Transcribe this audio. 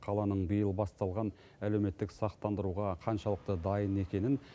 қаланың биыл басталған әлеуметтік сақтандыруға қаншалықты дайын екенін